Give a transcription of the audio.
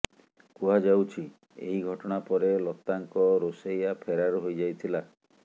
କୁହାଯାଉଛି ଏହି ଘଟଣା ପରେ ଲତାଙ୍କ ରୋଷେୟା ଫେରାର୍ ହୋଇଯାଇଥିଲା